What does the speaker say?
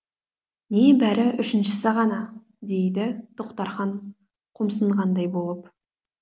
небәрі үшіншісі ғана дейді тоқтархан қомсынғандай болып